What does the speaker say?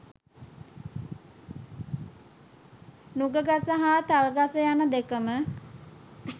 නුගගස හා තල්ගස යන දෙකම